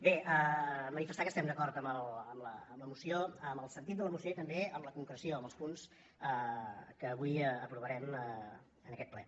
bé manifestar que estem d’acord amb la moció amb el sentit de la moció i també amb la concreció amb els punts que avui aprovarem en aquest ple